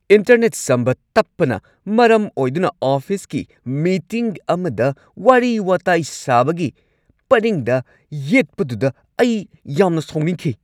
Internet ꯁꯝꯕ ꯇꯞꯄꯅ ꯃꯔꯝ ꯑꯣꯏꯗꯨꯅ ꯑꯣꯐꯤꯁꯀꯤ ꯃꯤꯇꯤꯡ ꯑꯃꯗ ꯋꯥꯔꯤ-ꯋꯥꯇꯥꯏ ꯁꯥꯕꯒꯤ ꯄꯔꯤꯡꯗ ꯌꯦꯠꯄꯗꯨꯗ ꯑꯩ ꯌꯥꯝꯅ ꯁꯥꯎꯅꯤꯡꯈꯤ꯫